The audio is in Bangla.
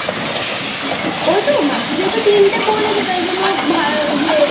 ওই তো মাসি যেহেতু তিনটে বলেছেসেইজন্য ইয়ে